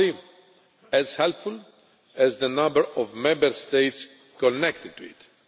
It is only as helpful as the number of Member States connected to it.